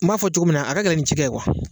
N m'a fɔ cogo min na a ka gɛlɛn nin cikɛ ye kuwa